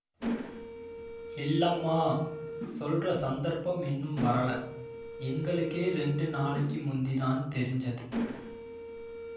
இல்லம்மா சொல்ற சந்தர்ப்பம் இன்னும் வரல எங்களுக்கே ரெண்டு நாளைக்கு முந்திதான் தெரிஞ்சது